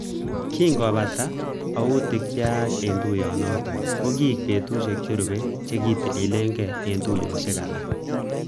Kingobata autik cheyach eng tuiyinotok kokiek betusiek cherube che kitililikegei eng tuiyosiek alak